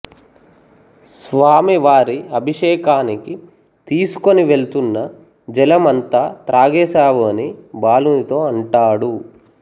స్వామివారి అభిషేకానికి తీసుకొనివెళ్తున్న జలం అంతా త్రాగేసావు అని బాలునితో అంటాడు